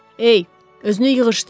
Ey, özünü yığışdır.